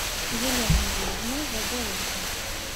еленой юрьевной загорулько